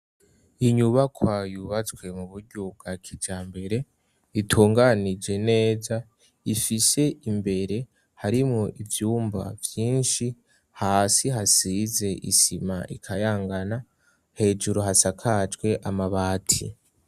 Inyubakwa yubatswe m'uburyo bwakijambere itunganije neza ifise imbere harimwo ivyumba vyishi, hasi hasize isima ikayangana, hejuru hasakajwe amabati.